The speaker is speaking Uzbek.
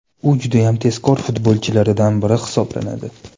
U judayam tezkor futbolchilaridan biri hisoblanadi.